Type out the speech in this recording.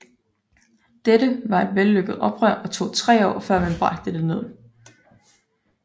Dette var et vellykket oprør og tog tre år før man bragte der ned